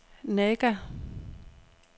Naga